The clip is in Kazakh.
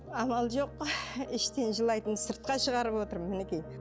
амал жоқ іштен жылайтын сыртқа шығарып отырмын мінекей